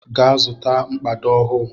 Gaa zụta mkpado ọhụụ!